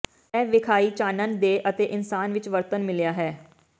ਇਹ ਵੇਖਾਈ ਚਾਨਣ ਦੇ ਅਤੇ ਇਨਸਾਨ ਵਿੱਚ ਵਰਤਣ ਮਿਲਿਆ ਹੈ